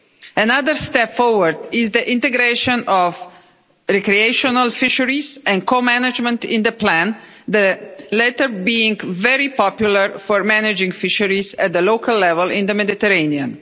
Another step forward is the integration of recreational fisheries and co-management into the plan, the latter being very popular for managing fisheries at the local level in the Mediterranean.